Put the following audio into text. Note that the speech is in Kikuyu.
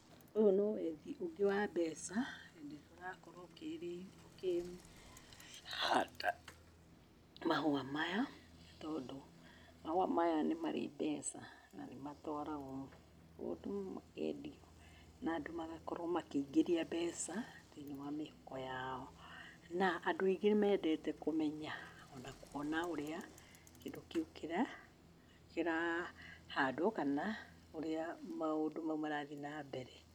Ũyũ no wethi ũngĩ wa mbeca na nĩ ũrakorwo ũkĩrĩ ũkĩhanda mahũa maya tondũ mahũa maya nĩ mari mbeca na nĩ matwaragwo kũndũ makendio na andũ magakorwo makĩingĩria mbeca thĩ-inĩ wa mĩhuko yao, Na andũ aingĩ nĩ mendete kũmenya, ona kuona ũrĩa kĩndũ kĩu kĩrahandwo kana ũrĩa maũndũ mau marathiĩ na mbere.